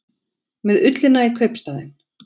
Með ullina í kaupstaðinn